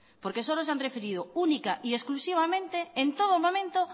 porque solo se ha referido única y exclusivamente en todo momento